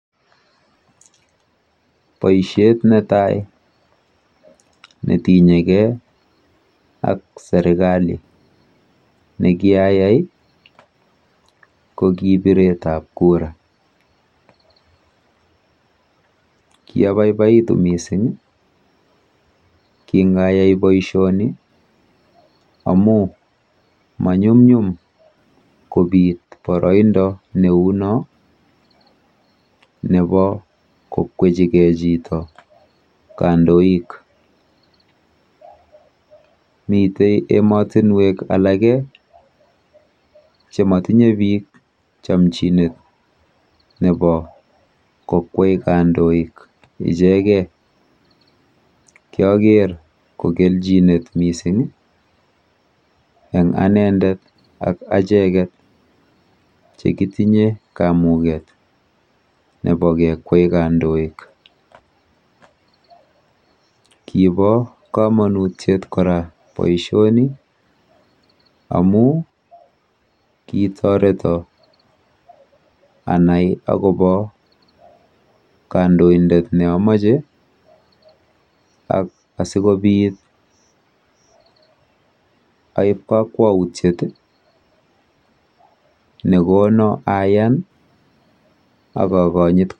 Boisiet netai netinyekei ak serkali nekiayai ko biretab kura. Kiabaibaitu mising kingayai boisioni amu manyumnyum kobiit boroindo neuno nebo kokwechigei chito kandoik. Mitei emotinwek alake chemotinye biik chomchinet kokwei kandoik ichegei. Kiaker ko kelchinet mising eng anendet ak acheket chekitinye kamuket nebo kekwei kandoik. Kiibo komonut kora boisioni amu kitoreto anai akobo kandoindet neamache ak asikobit aib kakwautiet nekono ayan akokonyit